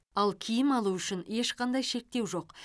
ал киім алу үшін ешқандай шектеу жоқ